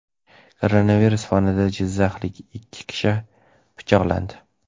Koronavirus fonida jizzaxlik ikki kishi pichoqlandi.